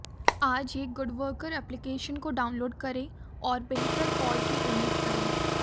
आज ही good worker application को डाउनलोड करें और बेहतर कल की उम्मीद करें